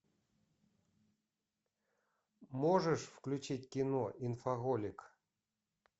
можешь включить кино инфоголик